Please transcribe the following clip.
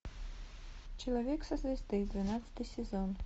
человек со звезды двенадцатый сезон